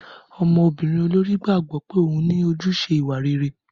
Ọmọbìnrin olórí gbàgbọ́ pé òun ní ojúṣe ìwà rere.